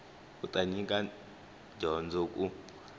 u ta nyika dyondzo ku